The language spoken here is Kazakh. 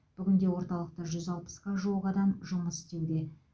бүгінде орталықта жүз алпысқа жуық адам жұмыс істеуде